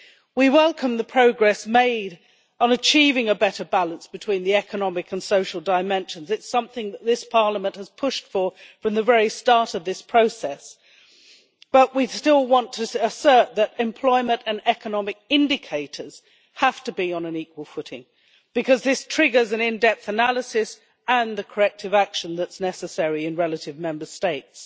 We welcome the progress made on achieving a better balance between the economic and social dimensions. It is something that this Parliament has pushed for from the very start of this process. But we still want to assert that employment and economic indicators have to be on an equal footing, because this triggers an in depth analysis and the corrective action that is necessary in relative Member States.